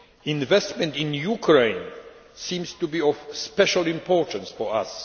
Investment in Ukraine seems to be of special importance for us.